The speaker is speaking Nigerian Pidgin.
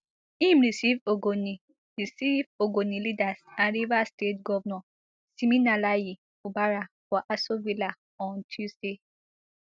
im receive ogoni receive ogoni leaders and rivers state govnor siminalayi fubara for aso villa on tuesday